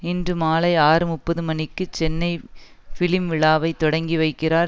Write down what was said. இன்று மாலை ஆறு முப்பது மணிக்கு சென்னை பிலிம் விழாவை தொடங்கி வைக்கிறார்